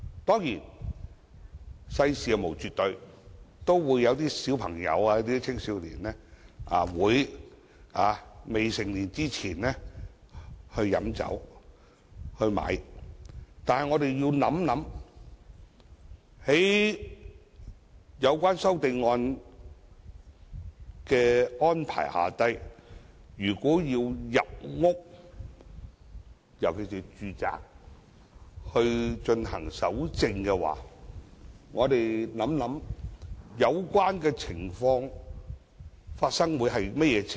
當然，世事無絕對，未成年的青少年也會買酒和飲酒，但我們要想想，據有關修正案的安排，甚麼時候才會出現需要進入住宅搜證的情況呢？